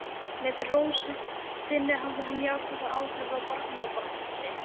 Með rósemdinni hafði hún jákvæð áhrif á barnabarn sitt.